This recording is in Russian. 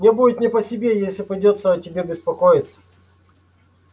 мне будет не по себе если придётся о тебе беспокоиться